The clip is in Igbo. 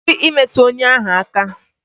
Kwụsị imetụ ọnya ahụ aka!